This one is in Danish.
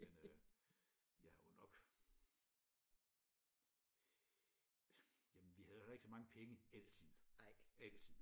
Men øh jeg har jo nok jamen vi havde jo heller ikke så mange penge altid altid